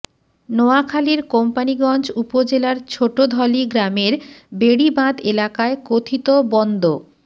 নোয়াখালীর কোম্পানীগঞ্জ উপজেলার ছোটধলী গ্রামের বেড়িবাঁধ এলাকায় কথিত বন্দ